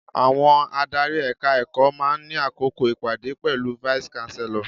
Àwọn adárí Ẹ̀ka-ẹ̀kọ́ máa ń ní àkókò ìpàdé pẹ̀lú vice-Chancellor.